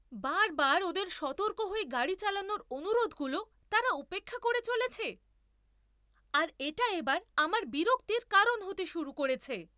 বারবার ওদের সতর্ক হয়ে গাড়ি চালানোর অনুরোধগুলো তারা উপেক্ষা করে চলেছে, আর এটা এবার আমার বিরক্তির কারণ হতে শুরু করেছে।